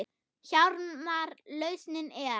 Hjálmar lausnin er.